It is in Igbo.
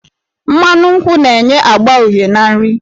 Mmanụ nkwụ na-enye agba uhie na nri.